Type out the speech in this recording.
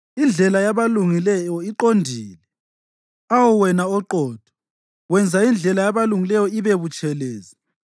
Indlela yabalungileyo iqondile; awu wena oQotho, wenza indlela yabalungileyo ibe butshelezi.